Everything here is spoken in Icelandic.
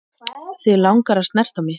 Þig langar að snerta mig.